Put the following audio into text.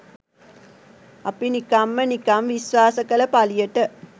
අපි නිකම්ම නිකම් විශ්වාස කළ පළියට